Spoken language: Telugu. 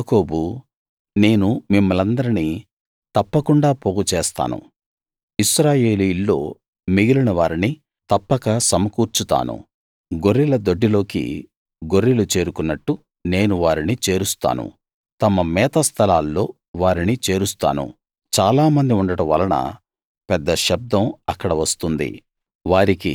యాకోబూ నేను మిమ్మల్నందరినీ తప్పకుండా పోగు చేస్తాను ఇశ్రాయేలీయుల్లో మిగిలిన వారిని తప్పక సమకూర్చుతాను గొర్రెల దొడ్డిలోకి గొర్రెలు చేరుకున్నట్టు నేను వారిని చేరుస్తాను తమ మేత స్థలాల్లో వారిని చేరుస్తాను చాలామంది ఉండడం వలన పెద్ద శబ్దం అక్కడ వస్తుంది